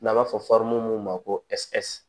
N'an b'a fɔ mun ma ko ɛrɛsi